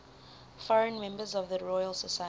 foreign members of the royal society